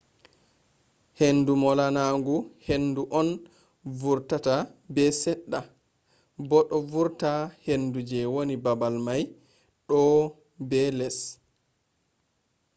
heyndu molanagu hindu on vortata be sedda bo do vortina hindu je wani babal mai douwo be les